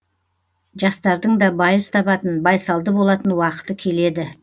жастардың да байыз табатын байсалды болатын уақыты келеді